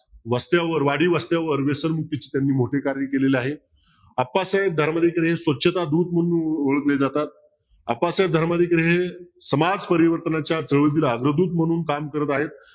वस्त्यावर वाडी वस्त्यावर व्यसनमुक्तीचे त्यांनी मोठे कार्य केलेले आहे. अप्पासाहेब धर्माधिकारी हे स्वच्छतादूत म्हणून ओळखले जातात. अप्पासाहेब धर्माधिकारी हे समाजपरिवर्तनाच्या म्हणून काम करत आहेत.